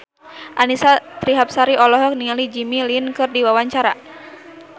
Annisa Trihapsari olohok ningali Jimmy Lin keur diwawancara